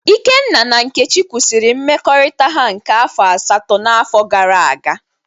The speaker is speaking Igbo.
Ikenna na Nkechi kwụsịrị mmekọrịta ha nke afọ asatọ n'afọ gara aga.